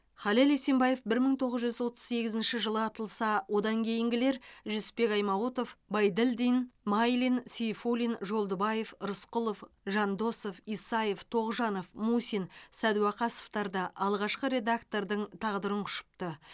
халел есенбаев бір мың тоғыз жүз отыз сегізінші жылы атылса одан кейінгілер жүсіпбек аймауытов байділдин майлин сейфуллин жолдыбаев рысқұлов жандосов исаев тоғжанов мусин сәдуақасовтар да алғашқы редактордың тағдырын құшыпты